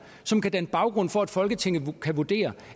som kan danne baggrund for at folketinget kan vurdere